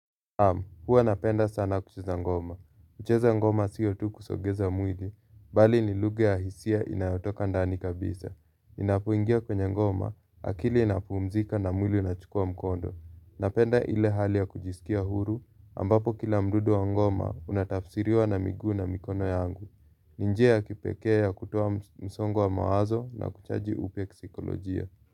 Naam, huwa napenda sana kucheza ngoma. Kucheza ngoma sio tu kusongeza mwili bali ni lugha ya hisia inayotoka ndani kabisa. Ninapoingia kwenye ngoma, akili inapumzika na mwili inachukua mkondo. Napenda ile hali ya kujisikia huru, ambapo kila mdundo wa ngoma unatafsiriwa na miguu na mikono yangu. Ni njia ya kipekee ya kutoa msongo wa mawazo na kuchaji upya kisaikolojia.